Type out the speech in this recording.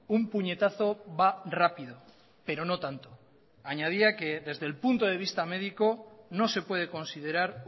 un puñetazo va rápido pero no tanto añadía que desde el punto de vista médico no se puede considerar